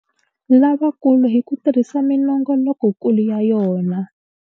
Lavakulu hi ku tirhisa minongolokokulu ya yona.